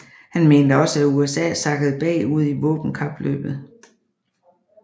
Han mente også at USA sakkede bag ud i våbenkapløbet